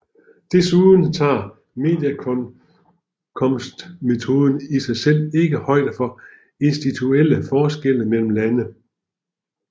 Desuden tager medianindkomstmetoden i sig selv ikke højde for institutionelle forskelle mellem lande